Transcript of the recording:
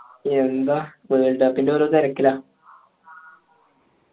യെന്ത world cup ൻ്റെ ഓരോ തെരക്കില